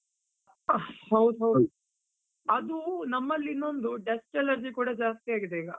ಹ ಹೌದು ಹೌದು, ಅದು ನಮ್ಮಲಿ ಇನ್ನೊಂದು dust allergy ಕೂಡ ಜಾಸ್ತಿ ಆಗಿದೆ ಈಗ.